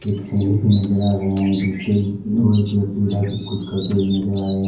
सीढ़ी भी नजर आ रहे हैं दूसरे ओर एक व्यक्ति उधर भी कुछ करते हुए नजर आ रहे हैं।